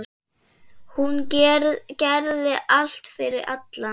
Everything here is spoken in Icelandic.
Hún gerði allt fyrir alla.